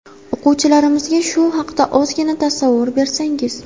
O‘quvchilarimizga shu haqda ozgina tasavvur bersangiz.